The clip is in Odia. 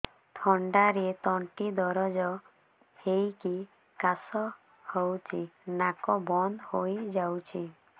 ଥଣ୍ଡାରେ ତଣ୍ଟି ଦରଜ ହେଇକି କାଶ ହଉଚି ନାକ ବନ୍ଦ ହୋଇଯାଉଛି